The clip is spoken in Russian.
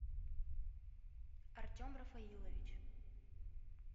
артем рафаилович